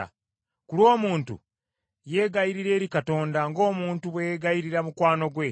Ku lw’omuntu, yeegayirira eri Katonda ng’omuntu bwe yeegayiririra mukwano gwe.